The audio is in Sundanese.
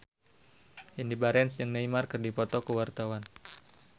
Indy Barens jeung Neymar keur dipoto ku wartawan